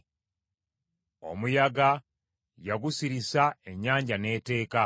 Omuyaga yagusirisa, ennyanja n’etteeka.